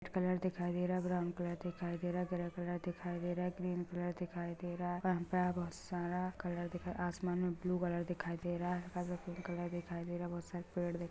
Colour दिखाई दे रहा हैं ब्राउन कलर दिखाई दे रहा हैं ग्रे कलर दिखाई दे रहा हैं ग्रीन कलर दिखाई दे रहा हैं. यहां पर बहुत सारा कलर आसमान में ब्लू कलर दिखाई दे रहा हैं हल्का सा पिंक कलर दिखाई दे रहा हैं बाहर सारे पेड़ दिखा--